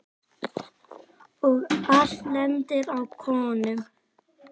Og allt lendir á konum.